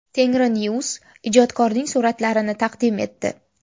Tengrinews ijodkorning suratlarini taqdim etdi .